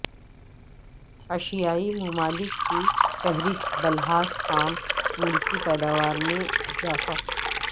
ایشیائی ممالک کی فہرست بلحاظ خام ملکی پیداوار میں اضافہ